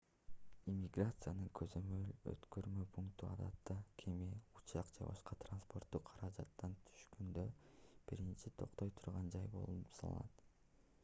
иммиграциянын көзөмөл-өткөрмө пункту адатта кеме учак же башка транспорттук каражаттан түшкөндө биринчи токтой турган жай болуп саналат